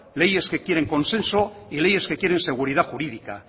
leyes que quieren consenso y leyes que quieren seguridad jurídica